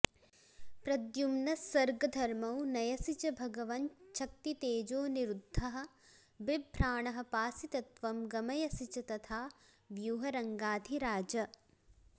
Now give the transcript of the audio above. प्रद्युम्नस्सर्गधर्मौ नयसि च भगवञ्च्छक्तितेजोऽनिरुद्धः बिभ्राणः पासि तत्त्वं गमयसि च तथा व्यूह्य रङ्गाधिराज